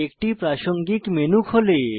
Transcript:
একটি প্রাসঙ্গিক মেনু খোলে